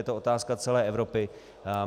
Je to otázka celé Evropy.